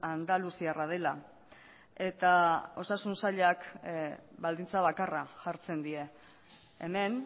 andaluziarra dela eta osasun sailak baldintza bakarra jartzen die hemen